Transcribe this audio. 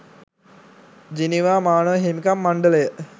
Geneva මානව හිමිකම් මණ්ඩලය